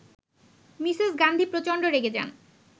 Mrs Gandhi প্রচন্ড রেগে যান